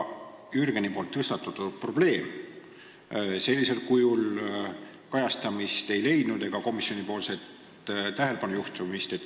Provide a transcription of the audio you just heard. Jürgeni tõstatatud probleem sellisel kujul kajastamist ega komisjonis tähelepanu juhtimist ei leidnud.